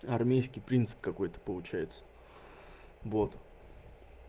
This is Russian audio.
армейский принцип какой-то получается вот